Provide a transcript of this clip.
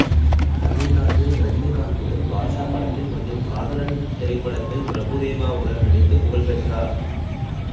தமிழில் ரஜினிகாந்துடன் பாட்ஷா படத்தில் மற்றும் காதலன் திரைப்படத்தில் பிரபுதேவாவுடன் நடித்துப் புகழ் பெற்றார்